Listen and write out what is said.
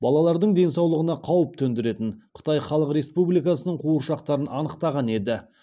балалардың денсаулығына қауіп төндіретін қытай халық республикасының қуыршақтарын анықтаған еді